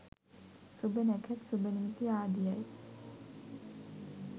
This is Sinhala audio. සුභ නැකැත් සුභ නිමිති ආදියයි.